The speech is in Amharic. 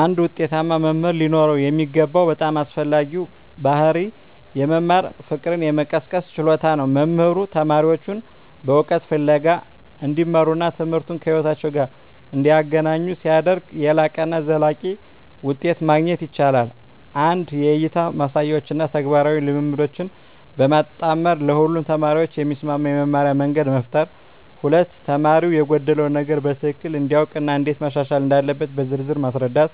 አንድ ውጤታማ መምህር ሊኖረው የሚገባው በጣም አስፈላጊው ባሕርይ የመማር ፍቅርን የመቀስቀስ ችሎታ ነው። መምህሩ ተማሪዎቹን በእውቀት ፍለጋ እንዲመሩና ትምህርቱን ከሕይወታቸው ጋር እንዲያገናኙ ሲያደርግ፣ የላቀና ዘላቂ ውጤት ማግኘት ይቻላል። 1) የእይታ ማሳያዎችን እና ተግባራዊ ልምምዶችን በማጣመር ለሁሉም ተማሪዎች የሚስማማ የመማርያ መንገድ መፍጠር። 2)ተማሪው የጎደለውን ነገር በትክክል እንዲያውቅ እና እንዴት ማሻሻል እንዳለበት በዝርዝር ማስረዳት።